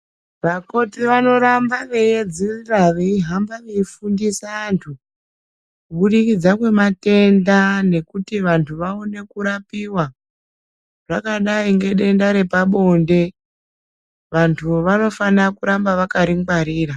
Vakoti vanoramba veiedzurira, veihamba veifundisa antu kubudikidza kwematenda nekuti vanhu vaone kurapiwa, zvakadai ngedenda repabonde, vantu vanofana kuramba vakaringwarira.